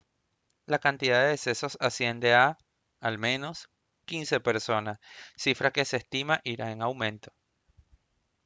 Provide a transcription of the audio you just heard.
la cantidad de decesos asciende a al menos 15 personas cifra que se estima irá en aumento